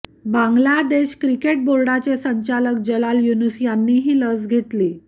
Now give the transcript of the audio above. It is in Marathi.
बांगलादेश क्रिकेट बोर्डाचे संचालक जलाल युनुस यांनीही लस घेतली